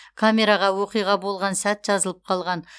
камераға оқиға болған сәт жазылып қалған